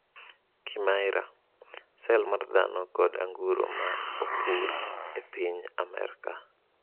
Kimaira: Sel mar dhano kod anguro ma opur e piny Amerka